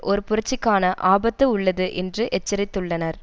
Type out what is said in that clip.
ஒரு புரட்சிக்கான ஆபத்து உள்ளது என்று எச்சரித்துள்ளனர்